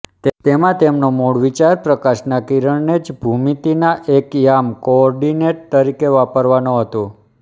તેમાં તેમનો મૂળ વિચાર પ્રકાશના કિરણને જ ભૂમિતિના એક યામ કોઓર્ડીનેટ તરીકે વાપરવાનો હતો